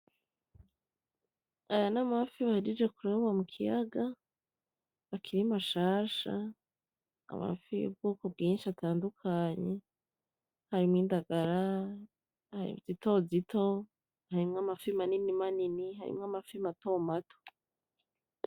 Aya ni amafi bahejeje kuroba mu kiyaga akiri mashasha. Amafi y'ubwoko bwinshi atandukanye harimwo indagara zitozito, harimwo amafi manini manini, harimwo amafi mato mato.